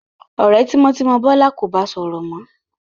Ọ̀rẹ́ tímọ́tímọ́ Bọ́lá kò ba sọ̀rọ̀ mọ́.